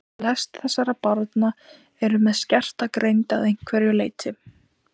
Flest þessara barna eru með skerta greind að einhverju leyti.